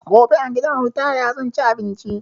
Gobe a gidan ritaya zan ci abinci